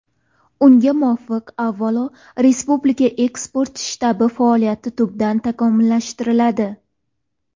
Unga muvofiq, avvalo, Respublika eksport shtabi faoliyati tubdan takomillashtiriladi.